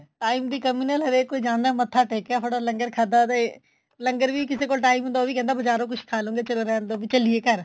time ਦੀ ਕਮੀ ਨਾਲ ਹਰੇਕ ਕੋਈ ਜਾਂਦਾ ਮੱਥਾ ਟੇਕਿਆ ਫਟਾਫਟ ਲੰਗਰ ਖਾਦਾ ਤੇ ਲੰਗਰ ਵੀ ਕਿਸੇ ਕੋਈ time ਹੁੰਦਾ ਉਹ ਵੀ ਕਹਿੰਦਾ ਬਜਾਰੋ ਕੁੱਛ ਖਾਲਾਂਗੇ ਚਲੋ ਰਹਿੰਦੋ ਵੀ ਚੱਲੀਏ ਘਰ